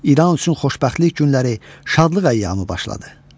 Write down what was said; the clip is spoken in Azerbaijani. İraün üçün xoşbəxtlik günləri, şadlıq əyyamı başladı.